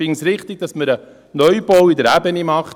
Ich finde es richtig, dass man einen Neubau in der Ebene macht.